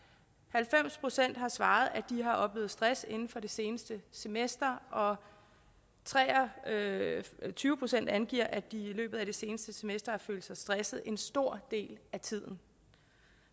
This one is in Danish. halvfems procent har svaret at de har oplevet stress inden for det seneste semester og tre og tyve procent angiver at de i løbet af det seneste semester har følt sig stresset en stor del af tiden